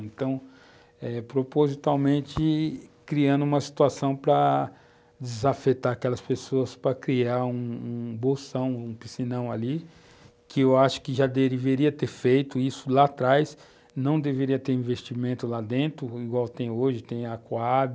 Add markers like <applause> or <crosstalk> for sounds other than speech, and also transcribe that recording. Então, eh, propositalmente, criando uma situação para desafetar aquelas pessoas, para criar um um bolsão, um piscinão ali, que eu acho que já deveria ter feito isso lá atrás, não deveria ter investimento lá dentro, igual tem hoje, tem a <unintelligible>